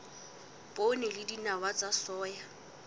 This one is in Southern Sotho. poone le dinawa tsa soya